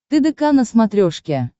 тдк на смотрешке